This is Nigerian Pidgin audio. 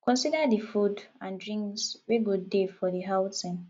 consider di food and drinks wey go dey for di outing